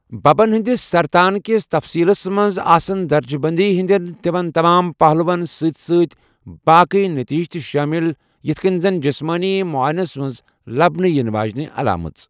ببن ہندِس سرتان كِس تفصیٖلَس منٛز آسَن درجہ بندی ہٕنٛدِین تِمَن تمام پہلوٗوَن سۭتۍ سۭتۍ باقی نٔتجہِ تہِ شٲمِل، یِتھ کٔنۍ زن جسمٲنی مٗعاینس منز لَبنہٕ یِنہٕ واجنہِ علامژٕ ۔